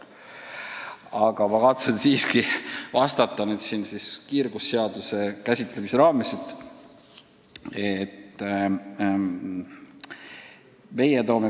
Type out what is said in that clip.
Aga ma kavatsen teile siiski vastata kohe, kiirgusseaduse käsitlemise ajal.